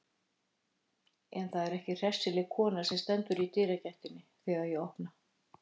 En það er ekki hressileg kona sem stendur í dyragættinni þegar ég opna.